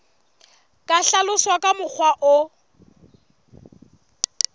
ka hlaloswa ka mokgwa o